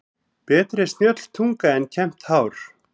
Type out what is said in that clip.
Betri er snjöll tunga en kembt hár.